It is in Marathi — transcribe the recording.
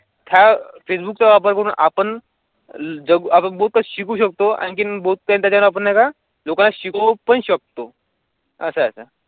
फेसबुकचा पण आपण जम्बो कशी घेऊ शकतो आणखीन होत्या. त्या आपल्याला जगाशी तो पण शकतो असा.